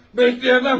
Bəkləyəmməm!